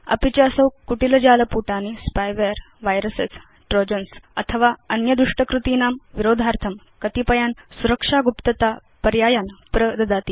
अपि च असौ कुटिल जाल पुटानि स्पाईवेयर वायरस ट्रोजन्स् अथवा अन्य दुष्ट कृतीनां विरोधार्थं कतिपयान् सुरक्षा गुप्तता पर्यायान् प्रददाति